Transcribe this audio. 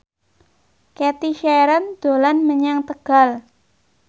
Cathy Sharon dolan menyang Tegal